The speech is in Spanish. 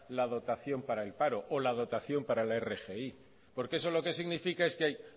la dotación para el paro o la dotación para la rgi porque eso lo que significa es que hay